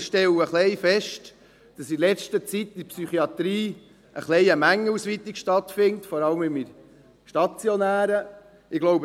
Wir stellen fest, dass in letzter Zeit in der Psychiatrie eine Mengenausweitung stattgefunden hat, vor allem im stationären Bereich.